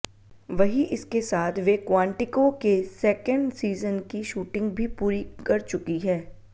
वही इसके साथ वे क्वांटिको के सेकेण्ड सीजन की शूटिंग भी पूरी कर चुकी है